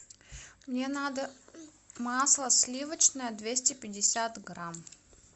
мне надо масло сливочное двести пятьдесят грамм